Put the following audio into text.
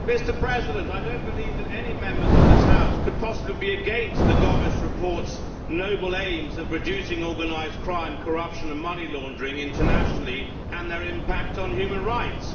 Mr President, I do not believe that any Members of this House could possibly be against the Gomes report's noble aims of reducing organised crime, corruption and money laundering internationally and their impact on human rights.